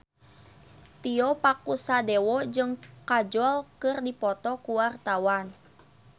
Tio Pakusadewo jeung Kajol keur dipoto ku wartawan